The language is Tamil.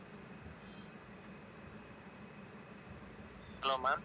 hello mam